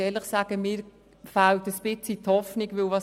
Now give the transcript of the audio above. aber ehrlich gesagt, fehlt mir etwas die Hoffnung darauf.